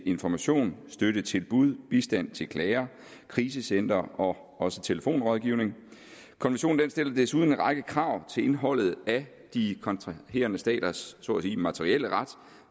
information støttetilbud bistand til klager krisecentre og også telefonrådgivning den stiller desuden en række krav til indholdet af de kontraherende staters så at sige materielle ret